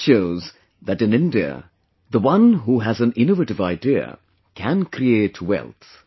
This shows that in India, the one who has an innovative idea, can create wealth